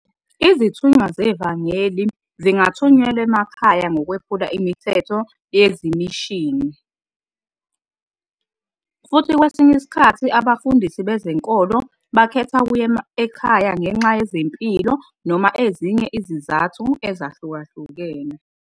Izithunywa zevangeli zingathunyelwa emakhaya ngokwephula imithetho yezimishini, futhi kwesinye isikhathi abafundisi bezenkolo bakhetha ukuya ekhaya ngenxa yezempilo noma ezinye izizathu ezahlukahlukene.